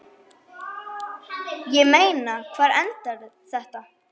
Ég meina, hvar endar þetta?